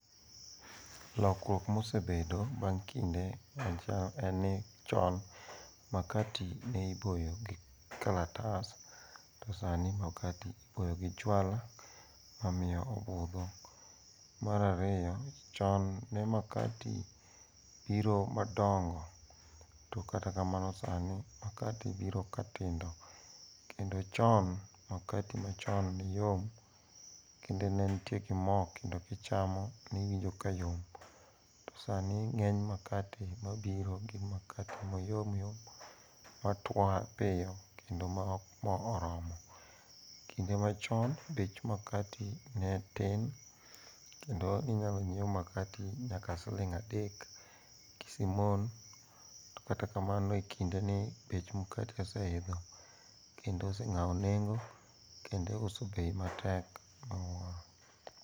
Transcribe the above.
Lokruok mosebedo bang' kinde en ni chon makati ne iboyo gi kalatas to sani makati iboyo gi juala mamiyo obudho. Mar ariyo, chon ne makati biro madongo to kata kamano sani makati biro katindo kendo chon makati machon ne yom kendo ne nitie gi mo kendo kichamo niwinjo ka yom to sani ng'eny makati mabiro gin makati mayomyom matwa piyo kendo ma ok mo oromo. Kinde machon bech makati ne ni tin kendo ninyalo nyiew makati nyaka siling adek gi simon, to kata kamano e kindeni bech makati oseidho kendo oseng'awo nengo kendo iuso bei matek miwuoro.